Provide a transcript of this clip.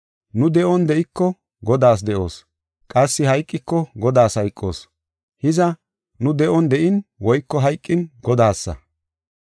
Nu de7on de7iko Godaas de7oos; qassi hayqikoka Godaas hayqoos. Hiza, nu de7on de7in woyko hayqin Godaasa.